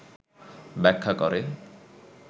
ব্যাখ্যা করে,